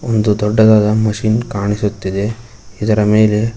ಒಂದು ದೊಡ್ಡದಾದ ಮಷೀನ್ ಕಾಣಿಸುತ್ತಿದೆ ಇದರ ಮೇಲೆ--